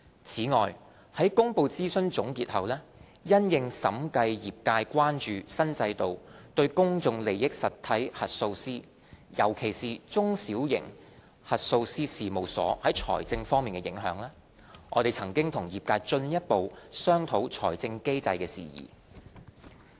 此外，在公布諮詢總結後，因應審計業界關注新制度對公眾利益實體核數師，尤其是中小型核數師事務所在財政方面影響，我們曾與業界進一步商討財政機制事宜。